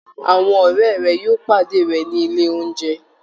Àwọn ọ̀rẹ́ rẹ̀ yóò pàdé rẹ̀ ní ilé oúnjẹ